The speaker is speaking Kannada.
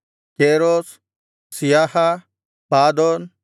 ಕೇರೋಸ್ ಸೀಯಹಾ ಪಾದೋನ್